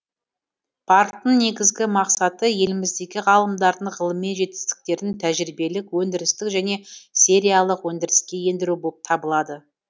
парктің негізгі мақсаты еліміздегі ғалымдардың ғылыми жетістіктерін тәжірибелік өндірістік және сериялық өндіріске ендіру болып табылады